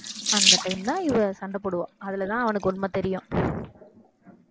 அந்த time ல இவ சண்டை போடுவா அதுலதான் அவனுக்கு உண்மை தெரியும்